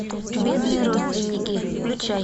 бедные родственники включай